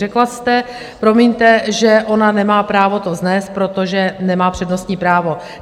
Řekla jste, promiňte, že ona nemá právo to vznést, protože nemá přednostní právo.